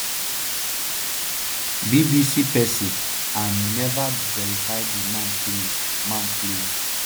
bbc persi an never verify di man claims. man claims.